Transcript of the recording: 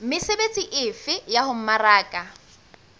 mesebetsi efe ya ho mmaraka